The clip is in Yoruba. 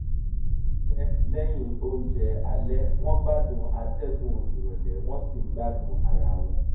wọ́n rìn fún ìgbà pípẹ́ lẹ́yìn oúnjẹ alẹ́ wọ́n gbádùn atẹ́gùn ìrọ̀lẹ́ wọ́n sì ń gbádùn ara wọn